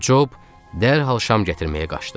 Cob dərhal şam gətirməyə qaçdı.